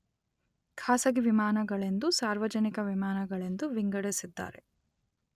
ಖಾಸಗಿ ವಿಮಾನಗಳೆಂದೂ ಸಾರ್ವಜನಿಕ ವಿಮಾನಗಳೆಂದೂ ವಿಂಗಡಿಸಿದ್ದಾರೆ.